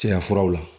Cɛya furaw la